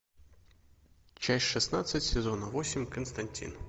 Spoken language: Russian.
часть шестнадцать сезона восемь константин